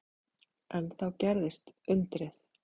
En þá gerðist undrið.